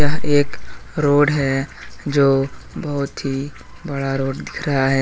यह एक रोड है जो बोहोत ही बड़ा दिख रहा है।